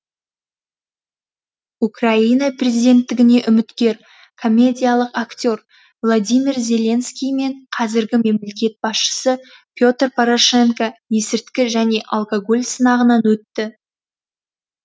украина президенттігіне үміткер комедиялық актер владимир зеленский мен қазіргі мемлекет басшысы петр порошенко есірткі және алкоголь сынағынан өтті